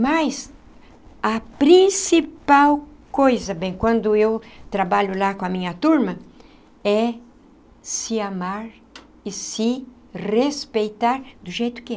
Mas a principal coisa, bem, quando eu trabalho lá com a minha turma, é se amar e se respeitar do jeito que é.